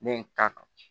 Ne ye n ta kan